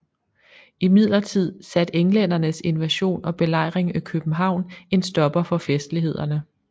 Imidlertid satte englændernes invasion og belejring af København en stopper for festlighederne